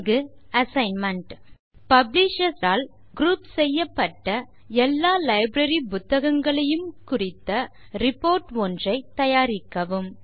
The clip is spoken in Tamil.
இங்கு assignment columnar single column layout ஐ பயன்படுத்தவும்